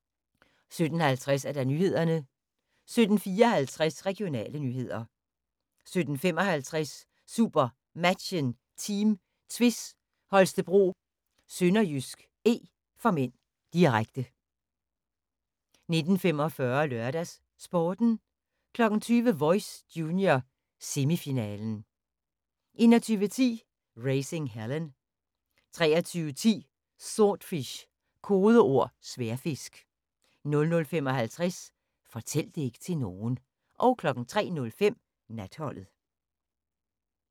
17:50: Nyhederne 17:54: Regionale nyheder 17:55: SuperMatchen: Team Tvis Holstebro-SønderjyskE (m), direkte 19:45: LørdagsSporten 20:00: Voice – junior, semifinalen 21:10: Raising Helen 23:10: Swordfish – kodeord Sværdfisk 00:55: Fortæl det ikke til nogen 03:05: Natholdet